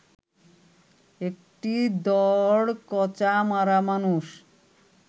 একটি দড়কচা মারা মানুষ